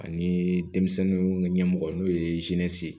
Ani denmisɛnninw ka ɲɛmɔgɔ n'o ye ye